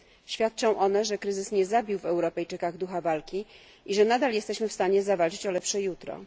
Świadczą one, że kryzys nie zabił w Europejczykach ducha walki i że nadal jesteśmy w stanie zawalczyć o lepsze jutro.